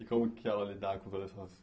E como que ela lidava com todas essas